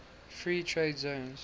free trade zones